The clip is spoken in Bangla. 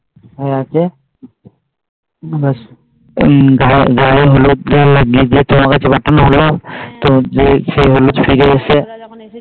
হয় গিয়েছে আমার গায়ের হলুদ লাগিয়ে দিয়ে তোমার কাছে পাঠানো হলো যে হলুদ ছুঁইয়ে এসেছে